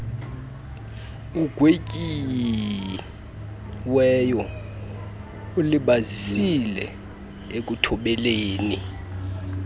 ugwetyiweyo ulibazisile ekuthobeleni